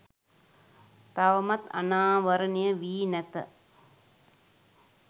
තවමත් අනාවරණය වී නැත